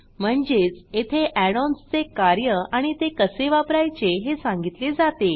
म्हणजेच येथे add ONS चे कार्य आणि ते कसे वापरायचे हे सांगितले जाते